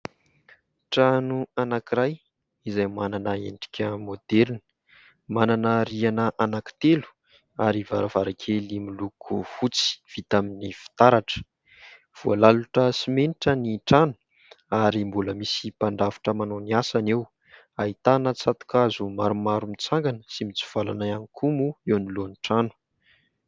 Trano anankiray, izay manana endrika moderina, manana rihina anakitelo ary varavarakely miloko fotsy, vita amin'ny fitaratra. Voalalotra simenitra ny trano ary mbola misy mpandrafitra manao ny asany eo, ahitana tsato- kazo maromaro mitsangana sy mitsivalana ihany koa moa eo anoloan'ny trano.